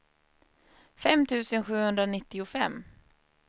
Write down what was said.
fem tusen sjuhundranittiofem